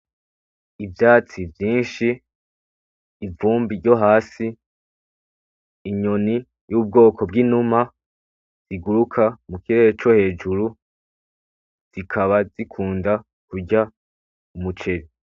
Ivyatsi vyinshi ivumbi ryo hasi, inyoni y'ubwoko bw'inuma riguruka mu kirere co hejuru zikaba zikunda kurya umuceri.